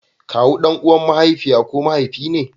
Kawu dan uwan mahaifiya ko mahaifi ne.